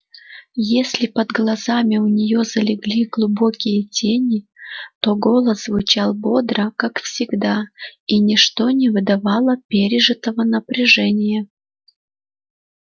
если под глазами у нее залегли глубокие тени то голос звучал бодро как всегда и ничто не выдавало пережитого напряжения